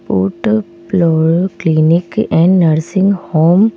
put प्लो clinic and nursing home --